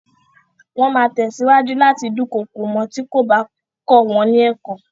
Wọ́n máa tẹ̀síwájú láti dúnkokò mọ́ ọn tí kò bá kọ wọn ní ẹ̀kọ́.